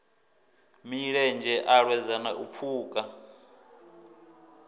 milenzhe a lwedzana u pfuka